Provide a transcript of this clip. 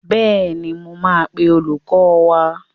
Bẹ́ẹ̀ni, mo máa pe olùkọ́ wá.